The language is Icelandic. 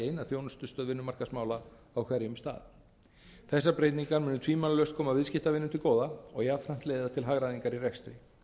eina þjónustustöð vinnumarkaðsmála á hverjum stað þessar breytingar munu tvímælalaust koma viðskiptavinum til bæði og jafnframt leiða til hagræðingar í rekstri